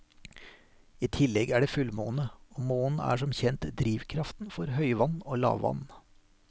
I tillegg er det fullmåne, og månen er som kjent drivkraften for høyvann og lavvann.